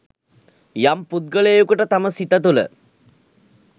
යම් පුද්ගලයකුට තම සිත තුළ